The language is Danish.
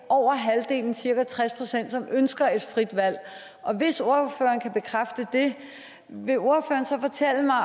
over halvdelen cirka tres pct som ønsker et frit valg hvis ordføreren kan bekræfte det vil ordføreren så fortælle mig